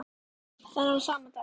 Þennan sama dag